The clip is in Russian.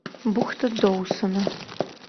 бухта доусона